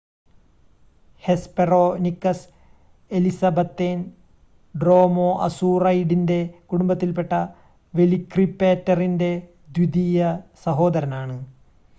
Hesperonychus എലിസബത്തേൻ ഡ്രോമോഅസൂറൈഡിൻ്റെ കുടുംബത്തിൽ പെട്ട വെലിക്രിപ്പേറ്ററിൻ്റെ ദ്വിതീയ സഹോദരനാണ്